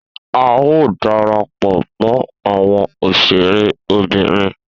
A o darapọ̀ mọ àwọn òṣèré Obìnrin